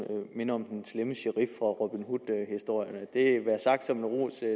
minder om den slemme sherif fra robin hood historierne det være sagt som en ros til at